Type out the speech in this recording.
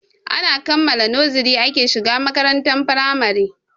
Ana kammala noziri ake shiga makarantar firamare.